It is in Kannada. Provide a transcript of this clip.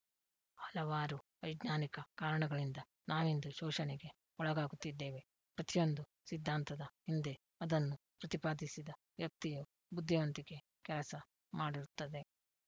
ಹಲವಾರು ವೈಜ್ಞಾನಿಕ ಕಾರಣಗಳಿಂದ ನಾವಿಂದು ಶೋಷಣೆಗೆ ಒಳಗಾಗುತ್ತಿದ್ದೇವೆ ಪ್ರತಿಯೊಂದು ಸಿದ್ದಾಂತದ ಹಿಂದೆ ಅದನ್ನು ಪ್ರತಿಪಾದಿಸಿದ ವ್ಯಕ್ತಿಯ ಬುದ್ದಿವಂತಿಕೆ ಕೆಲಸ ಮಾಡಿರುತ್ತದೆ